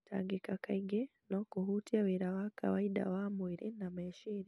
Gũtangĩka kaingĩ no kũhutie wĩra wa kawaida wa mwĩrĩ na meciria.